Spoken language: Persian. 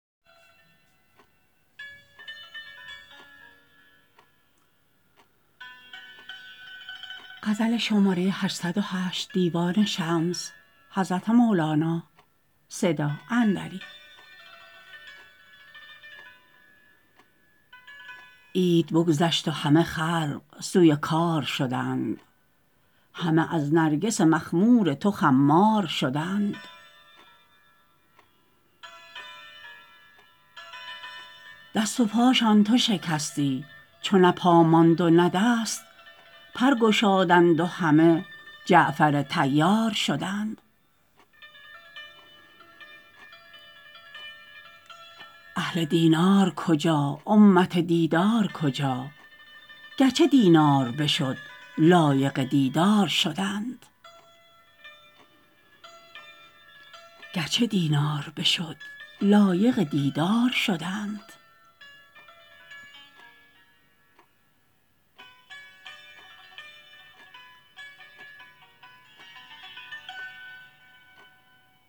عید بگذشت و همه خلق سوی کار شدند همه از نرگس مخمور تو خمار شدند دست و پاشان تو شکستی چو نه پا ماند و نه دست پر گشادند و همه جعفر طیار شدند اهل دینار کجا امت دیدار کجا گرچه دینار بشد لایق دیدار شدند